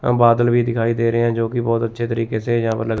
अह बादल भी दिखाई दे रहे हैं जो कि बहुत अच्छे तरीके से यहाँ पर ल--